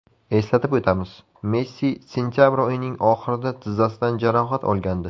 Eslatib o‘tamiz, Messi sentabr oyining oxirida tizzasidan jarohat olgandi .